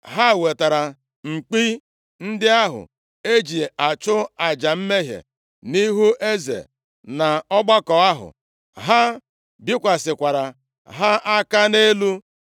Ha wetara mkpi ndị ahụ eji achụ aja mmehie nʼihu eze na ọgbakọ ahụ, ha bikwasịkwara ha aka nʼelu.